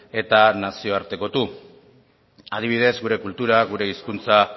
eta nazioartekotu adibidez gure kultura gure hizkuntza